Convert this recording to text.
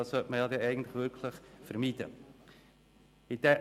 Das sollte eigentlich wirklich vermieden werden.